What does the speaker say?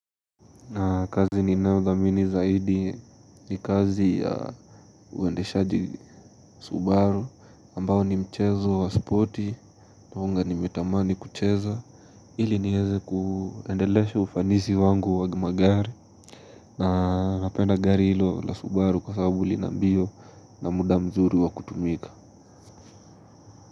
Na kazi ninayothamini zaidi ni kazi ya uendeshaji Subaru ambao ni mchezo wa spoti nimetamani kuucheza ili nieze kuendelesha ufanisi wangu wa magari na napenda gari hilo la Subaru kwa sababu lina mbio na muda mzuri wa kutumika.